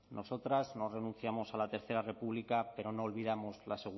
nosotras no renunciamos a la tercero república pero no olvidamos la